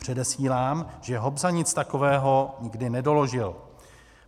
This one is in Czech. Předesílám, že Hobza nic takového nikdy nedoložil.